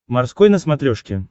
морской на смотрешке